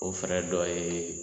O fɛrɛ dɔ ye